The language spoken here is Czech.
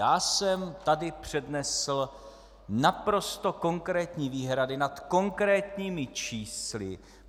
Já jsem tady přednesl naprosto konkrétní výhrady nad konkrétními čísly.